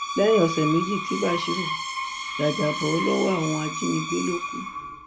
lẹyìn ọsẹ méjì tí básírù jàjàbọ lọwọ àwọn ajínigbé ló kù